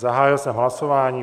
Zahájil jsem hlasování.